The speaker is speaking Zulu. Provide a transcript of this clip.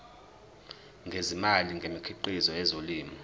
ngezimali ngemikhiqizo yezolimo